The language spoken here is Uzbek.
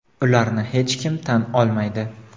ularni hech kim tan olmaydi.